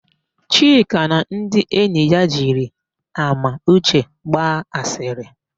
Chika na ndị enyi ya jiri Amauche gba asịrị.